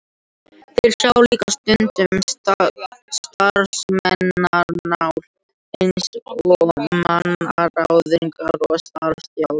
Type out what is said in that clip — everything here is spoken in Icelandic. Þeir sjá líka stundum um starfsmannamál eins og mannaráðningar og starfsþjálfun.